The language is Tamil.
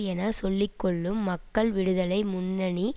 என சொல்லி கொள்ளும் மக்கள் விடுதலை முன்னணி